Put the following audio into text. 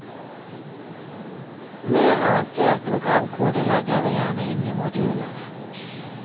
Mer avansert programkode legger vi gjerne inn i moduler.